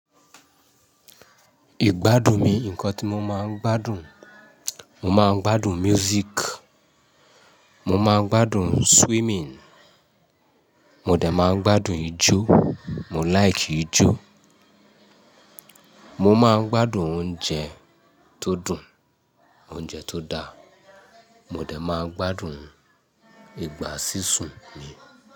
Ìgbádùn mi, nǹkan tí mo máa ń gbádùn, mo máa ń gbádùn music, mo máa ń gbádùn swimming, mo de máa ń gbádùn ijó, mo laiki ijó. Mo máa ń gbádùn oúnjẹ tó dùn, oúnjẹ tó da. Mo de máa ń gbádùn ìgbá sísun mi.